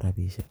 rabishek.